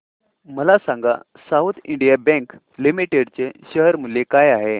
मला सांगा south Indian bank limited चे शेअर मूल्य काय आहे